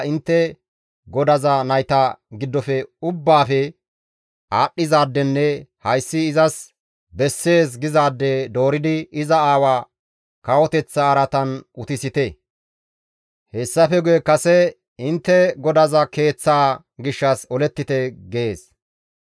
intte godaza nayta giddofe ubbaafe aadhdhizaadenne hayssi izas bessees gizaade dooridi iza aawaa kawoteththa araatan utisite; hessafe guye kase intte godaza keeththaa gishshas olettite» gees.